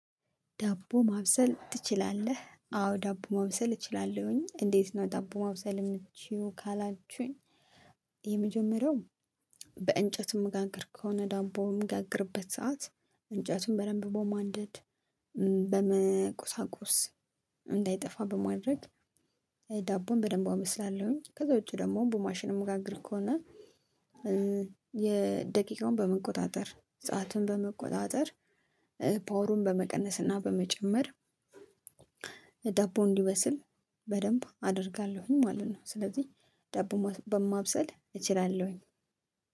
ዳቦ ማብሰል ትችላለህ? አዎ ዳቦ ማብሰል እችላለሁኝ እንዴት ነው? ዳቦ ማብሰል የምትችይው ካላችሁኝ የመጀመሪያው በእንጨት የምጋግር ከሆነ ዳቦውን በምጋግርበት ስዓት እንጨቱን በደንብ በማንደድ በመቆሳቆስ እንዳይጠፋ በማድረግ ዳቦውን በደንብ አበስላለሁኝ። ከዛ ውጪ ደግሞ በማሽን የምጋግር ከሆነ። ደቂቃውን በመቆጣጠር ሰአቱን በመቆጣጠር ፓወሩን በመቀነስ እና በመጨመር ዳቦው እንዲበስል በደንብ አደርጋለሁኝ ማለት ነው። ስለዚህ ዳቦ ማብሰል እችላለሁኝ።